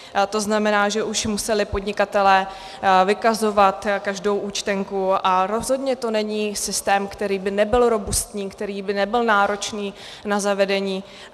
To znamená, že už museli podnikatelé vykazovat každou účtenku, a rozhodně to není systém, který by nebyl robustní, který by nebyl náročný na zavedení.